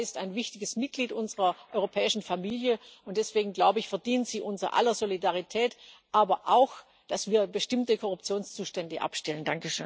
Die Slowakei ist ein wichtiges Mitglied unserer europäischen Familie, und deswegen verdient sie unser aller Solidarität, aber auch, dass wir bestimmte Korruptionszustände abstellen.